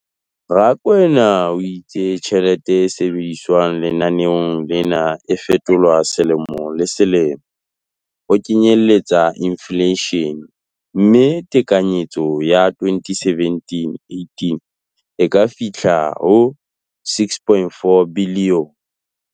Rakwena o itse tjhelete e sebediswang lenaneong lena e fetolwa selemo le selemo ho kenyelletsa infleishene, mme tekanyetso ya 2017-18 e ka fihla ho R6.4 bilione.